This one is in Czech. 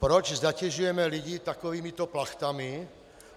Proč zatěžujeme lidi takovýmito plachtami?